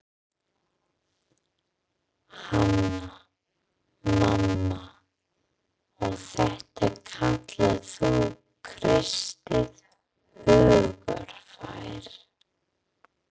Hanna-Mamma: Og þetta kallar þú kristið hugarfar.